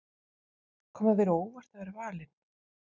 Kom það þér á óvart að vera valinn?